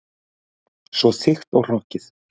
Svo þykkt og hrokkið.